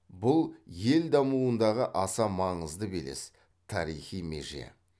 бұл ел дамуындағы аса маңызды белес тарихи меже